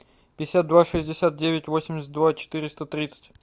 пятьдесят два шестьдесят девять восемьдесят два четыреста тридцать